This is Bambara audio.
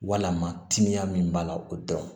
Walima timiya min b'a la o dɔn